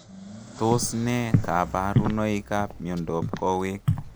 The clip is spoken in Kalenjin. Tos ne kabarunoik ap miondop koweek?